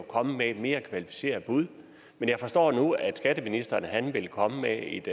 kommet med et mere kvalificeret bud men jeg forstår nu at skatteministeren vil komme med et